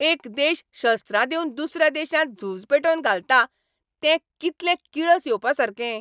एक देश शस्त्रां दिवन दुसऱ्या देशांत झूज पेटोवन घालता तें कितलें किळस येवपासारकें.